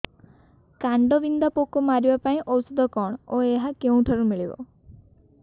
କାଣ୍ଡବିନ୍ଧା ପୋକ ମାରିବା ପାଇଁ ଔଷଧ କଣ ଓ ଏହା କେଉଁଠାରୁ ମିଳିବ